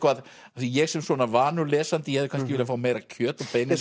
ég sem vanur lesandi ég hefði kannski viljað fá meira kjöt á beinið